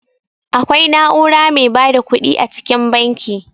Akwai na'ura mai ba da ƙuɗi a cikin banki.